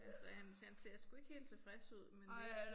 Han ser han ser han ser sgu ikke helt tilfreds ud men det